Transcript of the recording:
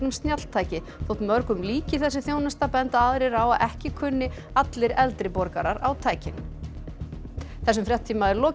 snjalltæki þótt mörgum líki þessi þjónusta benda aðrir á að ekki kunni allir eldri borgarar á tækin þessum fréttatíma er lokið